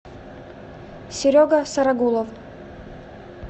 серега сарагулов